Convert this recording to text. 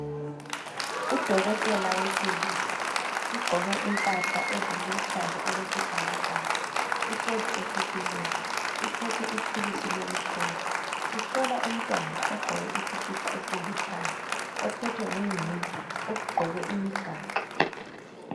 Udokotela wesilisa ugqoke impahla eziluhlaza okwesibhakabhaka uhlezi esitulweni uphethe ithulusi lokuhlola. Uhlola umntwana ogqoke isikipa elithanga ophethwe ngunina ugqoke imigaxo.